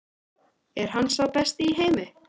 Er hann sá besti í heimi?